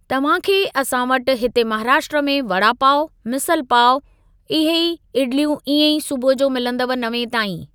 तव्हां खे असां वटि हिते महाराष्ट्रा में वड़ा पाव, मिसल पाव, इहे ई इडलियूं इएं ई सुबुह जो मिलंदव नवें ताईं।